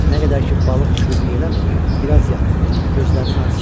Nə qədər ki balıq kürlük eləmir, biraz yat, gözlərinin acısını al.